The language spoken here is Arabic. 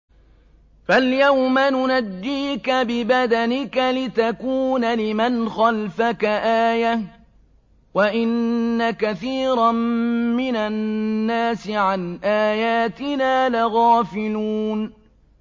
فَالْيَوْمَ نُنَجِّيكَ بِبَدَنِكَ لِتَكُونَ لِمَنْ خَلْفَكَ آيَةً ۚ وَإِنَّ كَثِيرًا مِّنَ النَّاسِ عَنْ آيَاتِنَا لَغَافِلُونَ